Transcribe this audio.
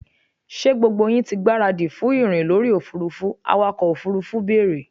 ṣé gbogbo yín ti gbáradì fún ìrìn lórí òfurufú? awakọ̀ òfurufú bèèrè?